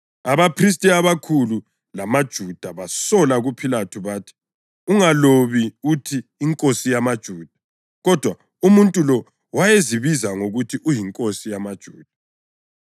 Abaphristi abakhulu bamaJuda basola kuPhilathu bathi, “Ungalobi uthi ‘INkosi yamaJuda,’ kodwa umuntu lo wayezibiza ngokuthi uyinkosi yamaJuda.”